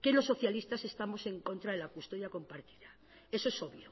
que los socialistas estamos en contra de la custodia compartida eso es obvio